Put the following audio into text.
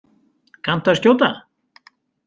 Kanntu að skjóta?